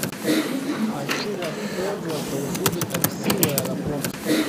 хочу воспользоваться услугой такси в аэропорт